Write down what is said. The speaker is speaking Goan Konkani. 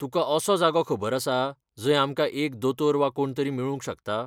तुका असो जागो खबर आसा जंय आमकां एक दोतोर वा कोण तरी मेळूंक शकता?